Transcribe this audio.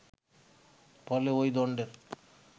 ফলে ওই দণ্ডের